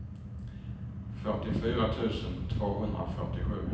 fyrtiofyra tusen tvåhundrafyrtiosju